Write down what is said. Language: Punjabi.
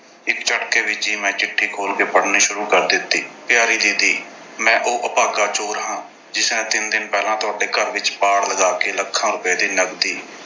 ਇੱਕ ਝਟਕੇ ਵਿੱਚ ਹੀ ਮੈਂ ਚਿੱਠੀ ਖੋਲ੍ਹ ਕੇ ਪੜ੍ਹਨੀ ਸ਼ੁਰੂ ਕਰ ਦਿੱਤੀ। ਪਿਆਰੀ ਦੀਦੀ, ਮੈਂ ਉਹ ਅਭਾਗਾ ਚੋਰ ਹਾਂ ਜਿਸਨੇ ਤਿੰਨ ਦਿਨ ਪਹਿਲਾਂ ਤੁਹਾਡੇ ਘਰ ਵਿੱਚ ਪਾੜ ਲਗਾ ਕੇ lakhs ਰੁਪਏ ਦੀ ਨਗਦੀ